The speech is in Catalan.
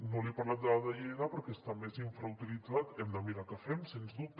no li he parlat del de lleida perquè està més infrautilitzat hem de mirar què fem sens dubte